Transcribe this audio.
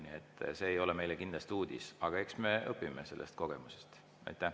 Nii et see ei ole meile kindlasti uudis, aga eks me õpime sellest kogemusest.